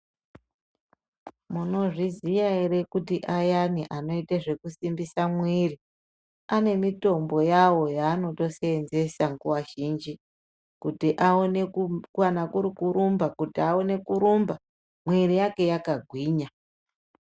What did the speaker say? Munozviziya ere kuti ayani anoita zvekusimbisa mwiri ane mitombo yavo yaanotosenzesa nguwa zhinji kuti aone kana kuri kurumba kuti aone kurumba mwiri yawo yakagwinya.